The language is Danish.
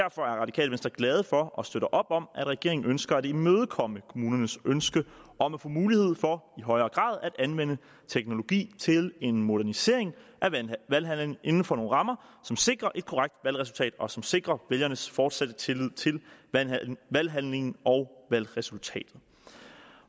radikale venstre glade for og støtter op om at regeringen ønsker at imødekomme kommunernes ønske om at få mulighed for i højere grad at anvende teknologi til en modernisering af valghandlingen inden for nogle rammer som sikrer et korrekt valgresultat og som sikrer vælgernes fortsatte tillid til valghandlingen og valgresultatet